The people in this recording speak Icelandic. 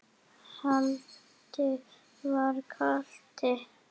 Haddi var krati.